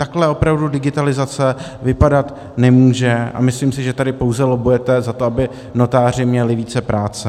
Takhle opravdu digitalizace vypadat nemůže a myslím si, že tady pouze lobbujete za to, aby notáři měli více práce.